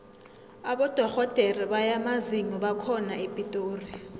abodorhodere bamazinyo bakhona epitori